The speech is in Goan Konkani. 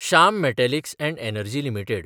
Shyam metallics & energy limited